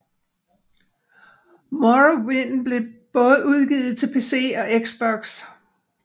Morrowind blev både udgivet til PC og Xbox